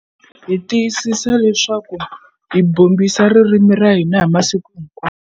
Hi tiyisisa leswaku hi bombisa ririmi ra hina hi masiku hinkwawo.